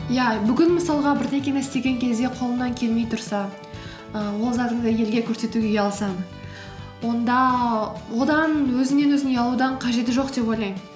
иә бүгін мысалға бірдеңені істеген кезде қолыңнан келмей тұрса і ол затыңды елге көрсетуге ұялсаң онда одан өзіңнен өзің ұялудан қажеті жоқ деп ойлаймын